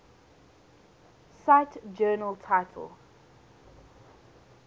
cite journal title